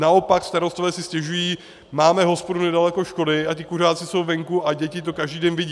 Naopak starostové si stěžují: Máme hospodu nedaleko školy a ti kuřáci jsou venku a děti to každý den vidí.